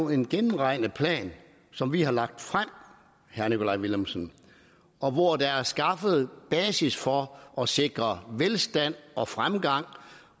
en gennemregnet plan som vi har lagt frem herre nikolaj villumsen og hvor der er skaffet basis for at sikre velstand og fremgang